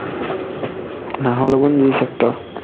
নাহৰ লগোনৰ g-sector